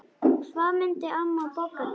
Hvað myndi amma Bogga gera?